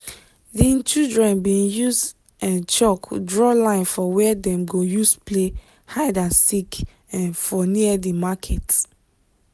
di children been use um chalk draw line for where dem go use play hide and seek um for near di market